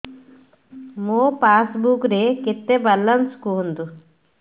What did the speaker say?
ମୋ ପାସବୁକ୍ ରେ କେତେ ବାଲାନ୍ସ କୁହନ୍ତୁ